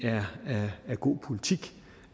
er god politik